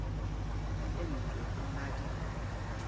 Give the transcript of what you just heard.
di entswe ho na di